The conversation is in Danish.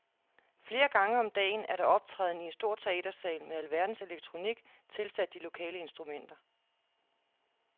Flere gange om dagen er der optræden i en stor teatersal med alverdens elektronik tilsat de lokale instrumenter.